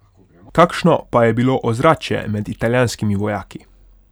Kakšno pa je bilo ozračje med italijanskimi vojaki?